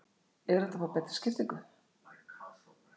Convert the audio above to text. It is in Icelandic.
Er hægt að fá betri skiptingu?